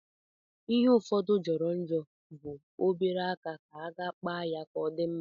Ihe ụfọdụ jọrọ njọ bụ obere aka ka a ga-akpa ya o di mma.